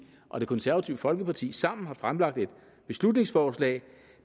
og det konservative folkeparti sammen har fremsat et beslutningsforslag